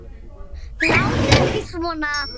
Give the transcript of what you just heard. Látið ekki svona.